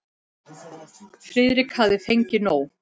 Friðrik hafði fengið nóg.